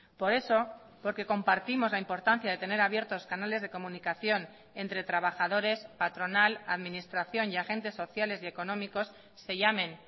por eso porque compartimos la importancia de tener abiertos canales de comunicación entre trabajadores patronal administración y agentes sociales y económicos se llamen